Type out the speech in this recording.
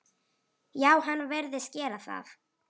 Já, hann virðist gera það.